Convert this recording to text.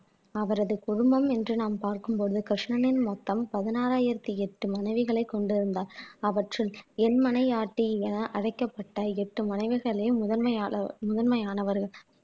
அவரது குடும்பம் என்று நாம் பார்க்கும் போது கிருஷ்ணனின் மொத்தம் பதினாறாயிரத்தி எட்டு மனைவிகளை கொண்டிருந்தார் அவற்றுள் என்மனையாட்டி என அழைக்கப்பட்ட எட்டு மனைவிகளே முதன்மையாள முதன்மையானவர்கள்